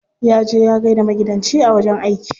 Ya je ya gaida maigidanci a wajen aiki.